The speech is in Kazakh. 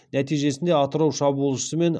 нәтижесінде атырау шабуылшысы мен